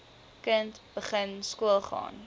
kind begin skoolgaan